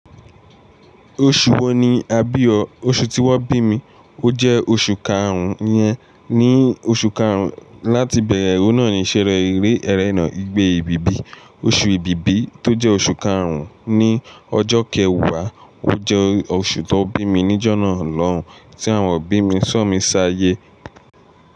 Oṣù wo ni a bí ọ? Oṣù tí wón bí mi ó jẹ́ oṣù karùn-ún iyẹn. Ni oṣù karùn-ún, láti bẹ̀ẹ̀rẹ̀, o náà ni ìṣere eré ẹrẹ́nà ìgbé ebìbí. Oṣù ìbíbí tó jẹ́ oṣù karùn-ún ni ọjọ́ kẹwàá, ó jẹ́ oṣù tó bí mi níjọ́na lọ́hùn-ún tí àwọn òbí mi ṣo mí ṣáayé.